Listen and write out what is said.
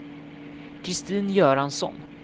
Kristin Göransson